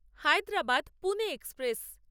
Hyderabad Pune express